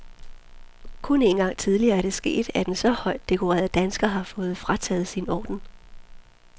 Kun en gang tidligere er det sket, at en så højt dekoreret dansker har fået frataget sin orden.